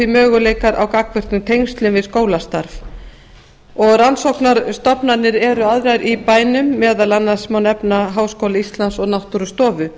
möguleikar á gagnvirkum tengslum við skólastarf og rannsóknarstofnanir eru aðrar í bænum meðal annars má nefna háskóla íslands og náttúrustofu